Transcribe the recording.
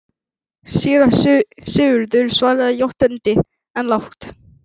Síra Sigurður svaraði játandi, en lágt.